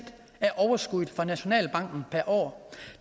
af overskuddet fra nationalbanken per år